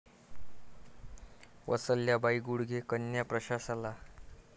वत्सलाबाई गुडगे कन्या प्रशाला